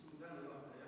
Suur tänu, juhataja!